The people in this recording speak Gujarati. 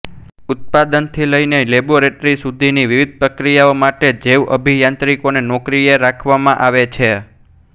ઉત્પાદનથી લઈને લેબોરેટરી સુધીની વિવિધ પ્રક્રિયાઓ માટે જૈવઅભિયાંત્રિકોને નોકરીએ રાખવામાં આવે છે